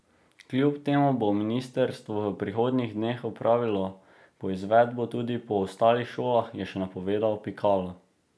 Kljub temu bo ministrstvo v prihodnjih dneh opravilo poizvedbo tudi po ostalih šolah, je še napovedal Pikalo.